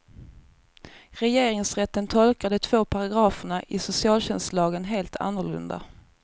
Regeringsrätten tolkar de två paragraferna i socialtjänstlagen helt annorlunda.